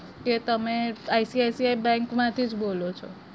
કે તમે ICICI bank માંથી જ બોલો છો?